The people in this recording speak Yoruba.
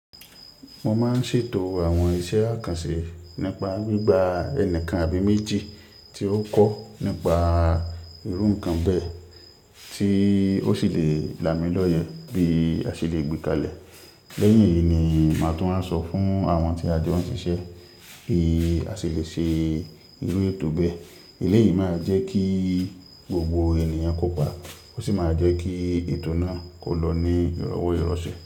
Mo máa ń ṣètò àwọn iṣẹ́ àkànṣe nípa gbígba ẹnìkan àbí méjì tí ó kọ́ nípa irú nǹkan bẹ́ẹ̀ tí ó sì le là mí lọ́yẹ bí a ṣe le gbé kalẹ̀. Lẹ́yìn èyí ni màá tún máa sọ fún àwọn tí a jọ́n ṣiṣẹ́ bí a ṣe le ṣe irú ètò bẹ́ẹ̀. Èléyìí máa jẹ́ kí gbogbo ènìyàn kó pa. Ó sì máa jẹ́ kí ètò náà kò lọ ní ìrọwó ìrọ̀sẹ̀